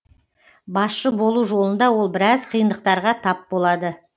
басшы болу жолында ол біраз қиындықтарға тап болады